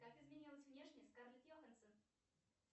как изменилась внешне скарлетт йоханссон